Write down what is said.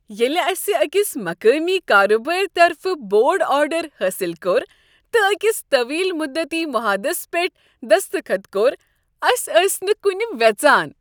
ییٚلہ أسہ أکس مقٲمی کارٕبارٕ طرفہٕ بوڈ آرڈر حٲصل کوٚر تہٕ أکس طٔویل مدتی معاہدس پٮ۪ٹھ دستخط کوٚر أسۍ ٲسۍ نہٕ کٗنہ وٮ۪ژان۔